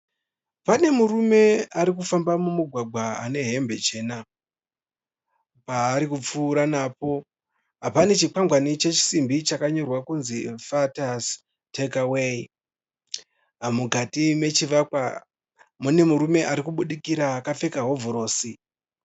Pane murume ari kufamba mumugwagwa ane hembe chena. Paari kupfuura napo pane chikwangwani chesimbi chakanyorwa kunzi FATTIES TAKEAWAY. Mukati mechivakwa mune murume ari kubudikira akapfeka hovhorosi.